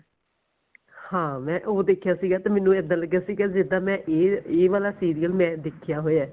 ਹਾਂ ਮੈਂ ਉਹ ਦੇਖਿਆ ਸੀਗਾ ਮੈਨੂੰ ਇੱਦਾਂ ਲੱਗਿਆ ਸੀਗਾ ਜਿੱਦਾਂ ਮੈਂ ਇਹ ਇਹ ਵਾਲਾ serial ਮੈਂ ਦੇਖਿਆ ਹੋਇਆ